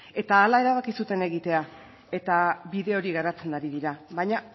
eta hala erabaki zuten egitea eta bide hori garatzen ari dira baina